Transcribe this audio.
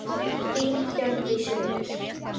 Þín Hjördís Rut.